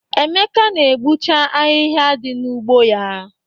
Emeka na-egbuche ahịhịa dị n'ugbo ya.